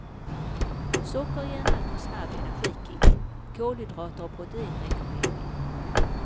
Socker ger en alltför snabb energikick, kolhydrater och protein räcker länge.